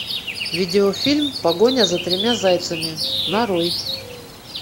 видео фильм погоня за тремя зайцами нарой